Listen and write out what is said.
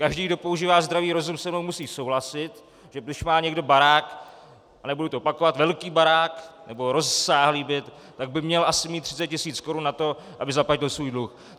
Každý, kdo používá zdravý rozum, se mnou musí souhlasit, že když má někdo barák, a nebudu to opakovat, velký barák nebo rozsáhlý byt, tak by měl asi mít 30 tisíc korun na to, aby zaplatil svůj dluh.